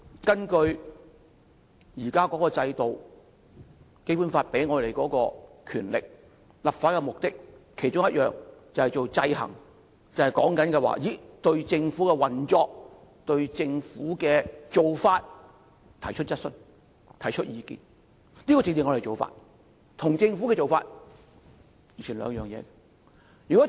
根據現時的制度，《基本法》賦予立法會權力，其中一個目的就是制衡政府，對政府的運作及做法提出質詢及意見，這是我們要做的，與政府本身怎樣做完全是兩回事。